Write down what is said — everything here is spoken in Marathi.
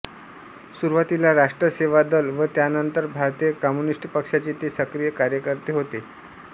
सुरुवातीला राष्ट्र सेवा दल व त्यानंतर भारतीय कम्युनिस्ट पक्षाचे ते सक्रिय कार्यकर्ते होते